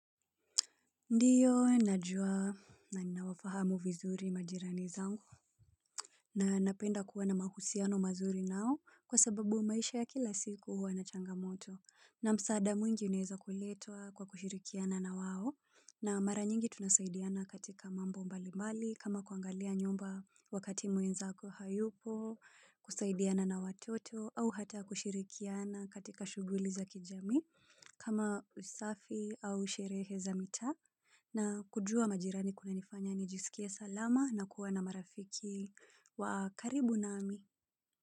Ndiyo, najua na ninawafahamu vizuri majirani zangu. Na napenda kuwa na mahusiano mazuri nao kwa sababu maisha ya kila siku huwa na changamoto. Na msaada mwingi unaeza kuletwa kwa kushirikiana na wao. Na mara nyingi tunasaidiana katika mambo mbali mbali kama kuangalia nyumba wakati mwenzako hayupo, kusaidiana na watoto au hata kushirikiana katika shughuli za kijami kama usafi au sherehe za mita. Na kujua majirani kunanifanya nijisikie salama na kuwa na marafiki wa karibu nami.